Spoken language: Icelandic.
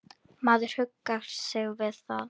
Maður huggar sig við það.